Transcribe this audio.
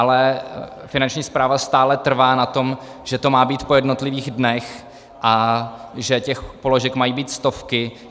Ale Finanční správa stále trvá na tom, že to má být po jednotlivých dnech a že těch položek mají být stovky.